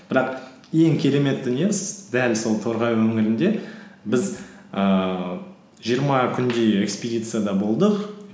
бірақ ең керемет дүниеміз дәл сол торғай өңірінде біз ііі жиырма күндей экспедицияда болдық